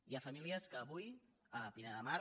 hi ha famílies que avui a pineda de mar